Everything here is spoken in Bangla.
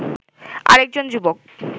আরেকজন যুবক